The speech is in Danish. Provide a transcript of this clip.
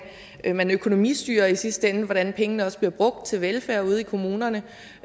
man økonomistyrer i sidste ende og hvordan pengene også bliver brugt til velfærd ude i kommunerne